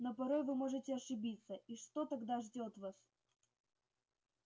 но порой вы можете ошибиться и что тогда ждёт вас